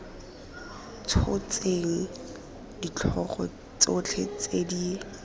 tshotseng ditlhogo tsotlhe tse di